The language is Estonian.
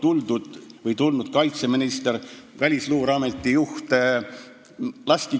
Miks ei tulnud kaitseminister ja Välisluureameti juht varem oma jutuga?